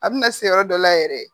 A bina se yɔrɔ dɔ la yɛrɛ